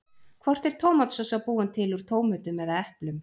Hvort er tómatsósa búin til úr tómötum eða eplum?